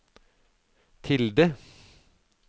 tilde